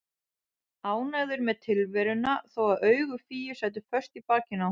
Ánægður með tilveruna þó að augu Fíu sætu föst í bakinu á honum.